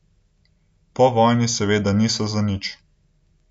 Povojni seveda niso zanič.